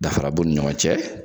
Dafara b'u ni ɲɔgɔn cɛ